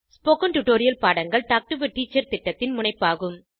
spoken tutorial பாடங்கள் talk to a teacher திட்டத்தின் முனைப்பாகும்